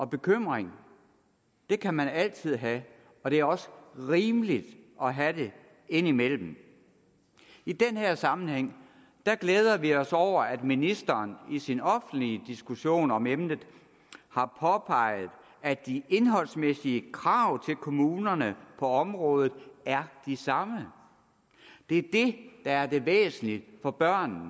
bekymringer kan man altid have og det er også rimeligt at have dem indimellem i den her sammenhæng glæder vi os over at ministeren i sin offentlige diskussion om emnet har påpeget at de indholdsmæssige krav til kommunerne på området er de samme det er det der er det væsentlige for børnene